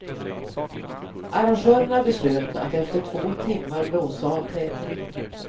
Arrangörerna beslöt att efter två timmar blåsa av tävlingen.